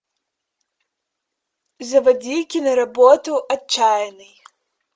заводи киноработу отчаянный